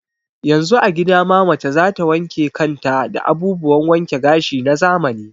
Yanzu a gida ma mace za ta wanke kan ta da abubuwan wanke gashi na zamani.